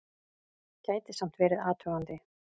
Gæti samt verið athugandi!